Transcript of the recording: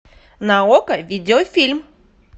на окко видеофильм